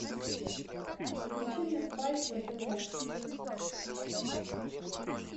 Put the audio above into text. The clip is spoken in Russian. включи мне спайк на тв